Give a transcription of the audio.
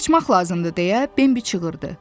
Qaçmaq lazımdır, deyə Bembi çığırdı.